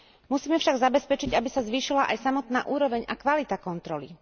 Musíme však zabezpečiť, aby sa zvýšila aj samotná úroveň a kvalita kontroly.